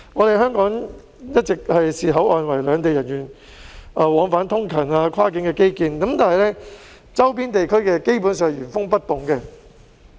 香港一直視口岸為兩地人員往返通勤的跨境基建，但周邊地區的設施基本上是原封不動的。